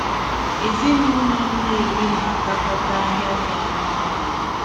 Ezinaụlọ Nnewi na-agakọta ahịa dị anya ọnụ.